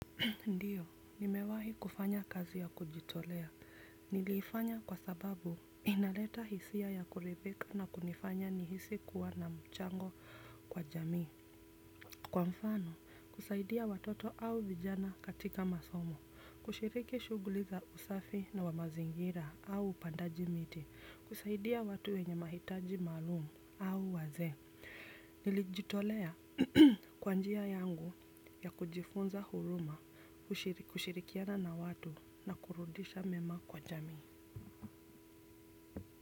Ndiyo nimewahi kufanya kazi ya kujitolea. Nilifanya kwa sababu inaleta hisia ya kuridhika na kunifanya nihisi kuwa na mchango kwa jamii. Kwa mfano kusaidia watoto au vijana katika masomo kushiriki shughuli za usafi na wa mazingira au upandaji miti. Kusaidia watu wenye mahitaji maalum au wazee. Nili jitolea kwa njia yangu ya kujifunza huruma kushirikiana na watu na kurudisha mema kwa jami.